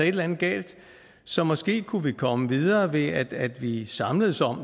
et eller andet galt så måske kunne vi komme videre ved at at vi samledes om